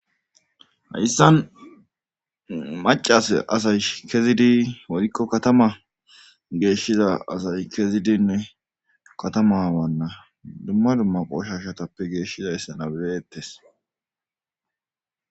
Hayssan macas asay kezidi worikko kattama geeshshiza asay kezidinne katama wanna dumma dumma qoshashatappe geeshshiza be'ettes